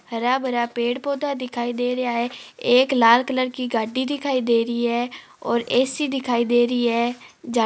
हारा भरा पेड़ पोधा दिखय दे रहा है एक लाल कलर की गाड़ी दिखय दे रही है और ए सी दिखय दे रही है जहा --